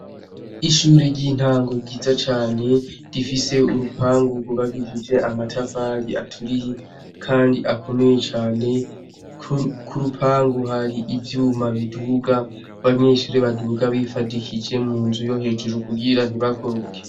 Ishuri ry'intango ryiza cane rifise urupangu rwubakishije amatafari aturiye kandi akomeye cane kurupangu hari ivyuma biduga abanyeshure baduga bifadikishije munzu yo hejuru kugira ntibakoroke.